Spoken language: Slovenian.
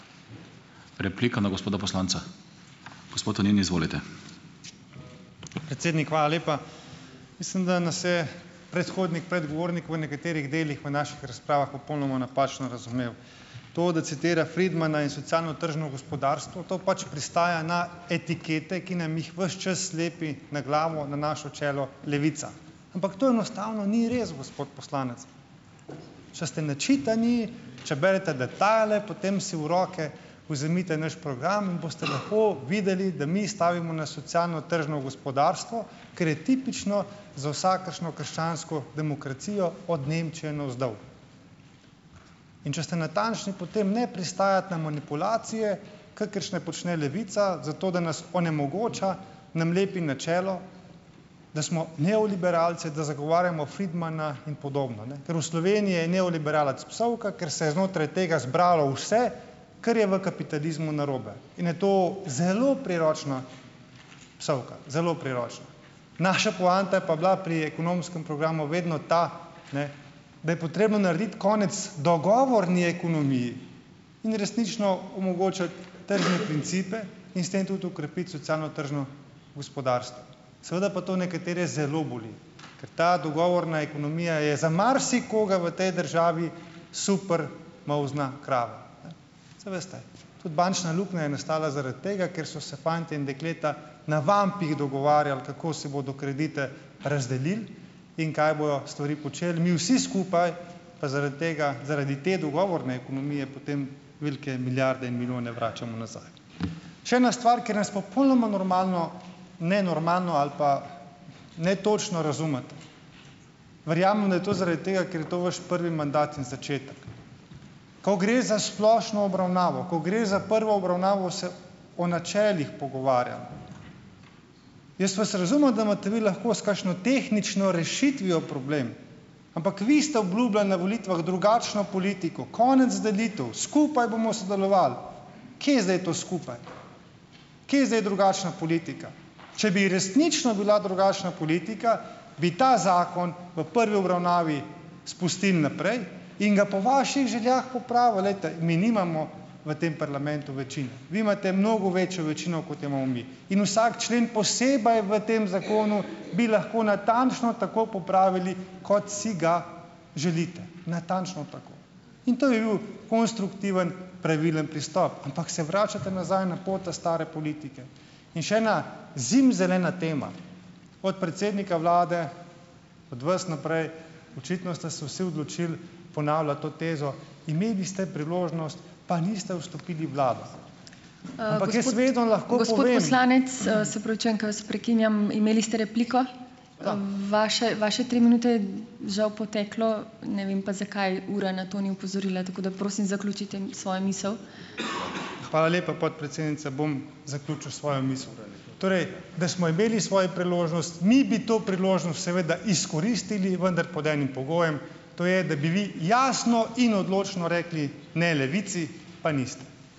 Predsednik, hvala lepa. Mislim, da nas je predhodnik, predgovornik v nekaterih delih v naših razpravah popolnoma napačno razumel. To, da citira Friedmana in socialno-tržno gospodarstvo, to pač pristaja na etikete, ki nam jih ves čas lepi na glavo, na naše čelo Levica. Ampak to enostavno ni res, gospod poslanec. Če ste načitani, če berete detajle, potem si v roke vzemite naš program in boste lepo videli, da mi stavimo na socialno- tržno gospodarstvo, ker je tipično za vsakršno krščansko demokracijo od Nemčije navzdol. In če ste natančni, potem ne pristajati na manipulacije, kakršne počne Levica zato, da nas onemogoča, nam lepi na čelo, da smo neoliberalci, da zagovarjamo Friedmana in podobno, ne, ker v Sloveniji je neoliberalec psovka, ker se je znotraj tega zbralo vse, kar je v kapitalizmu narobe, in je to zelo priročna psovka. Zelo priročna. Naša poanta je pa bila pri ekonomskem programu vedno ta, ne, da je potrebno narediti konec dogovorni ekonomiji in resnično omogočati tržne principe in s tem tudi okrepiti socialno-tržno gospodarstvo. Seveda pa to nekatere zelo boli, ker ta dogovorna ekonomija je za marsikoga v tej državi super molzna krava, ne. Saj veste, tudi bančna luknja je nastala zaradi tega, ker so se fantje in dekleta na vampih dogovarjali, kako si bodo kredite razdelil in kaj bojo stvari počeli, mi vsi skupaj pa zaradi tega, zaradi te dogovorne ekonomije potem velike milijarde in milijone vračamo nazaj. Še ena stvar, kjer nas popolnoma normalno, nenormalno ali pa netočno razumete. Verjamem, da je to zaradi tega, ker je to vaš prvi mandat in začetek. Ko gre za splošno obravnavo, ko gre za prvo obravnavo, se o načelih pogovarjamo. Jaz vas razumem, da imate vi lahko s kakšno tehnično rešitvijo problem, ampak vi ste obljubljali na volitvah drugačno politiko, konec delitev, skupaj bomo sodelovali. Kje je zdaj to skupaj? Kje je zdaj drugačna politika? Če bi resnično bila drugačna politika, bi ta zakon v prvi obravnavi spustili naprej in ga po vaših željah popravili. Glejte, mi nimamo v tem parlamentu večine. Vi imate mnogo večjo večino, kot jo imamo mi. In vsak člen posebej v tem zakonu bi lahko natančno tako popravili, kot si ga želite, natančno tako. In to bi bil konstruktiven, pravilen pristop, ampak se vračate nazaj na pota stare politike. In še ena zimzelena tema. Od predsednika vlade, od vas naprej, očitno ste se vsi odločili ponavljati to tezo, imeli ste priložnost, pa niste vstopili v vlado. Ampak jaz vedno lahko povem ... Hvala lepa, podpredsednica. Bom zaključil svojo misel. Torej da smo imeli svojo priložnost, mi bi to priložnost seveda izkoristili, vendar pod enim pogojem, to je, da bi vi jasno in odločno rekli ne Levici, pa niste.